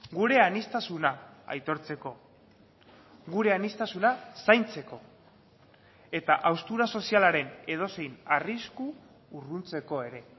gure aniztasuna aitortzeko gure aniztasuna zaintzeko eta haustura sozialaren edozein arrisku urruntzeko ere